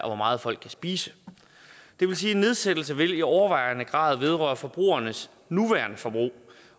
og hvor meget folk kan spise det vil sige at en nedsættelse i overvejende grad vil vedrøre forbrugeres nuværende forbrug